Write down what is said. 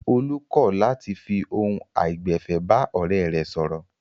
Olú kọ̀ làti fi ohun àìgbẹ̀fẹ̀ bá ọ̀rẹ́ rẹ̀ sọ̀rọ̀.